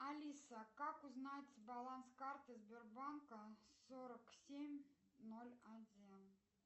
алиса как узнать баланс карты сбербанка сорок семь ноль один